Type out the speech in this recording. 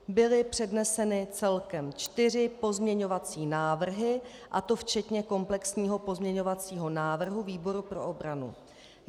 Byly předneseny celkem čtyři pozměňovací návrhy, a to včetně komplexního pozměňovacího návrhu výboru pro obranu.